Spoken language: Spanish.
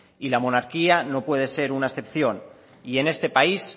y la monarquía no puede ser una excepción y en este país